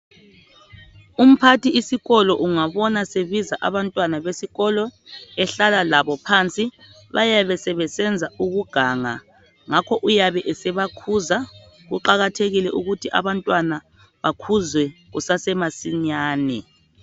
Umphathi isikolo ungabona sebiza abantwana besikolo ehlala labo phansi bayabesebesenza ukuganga ngakho uyabe sebakhuza. Kuqakathekile ukuthi abantwana bakhuzwe kusasemasinyane.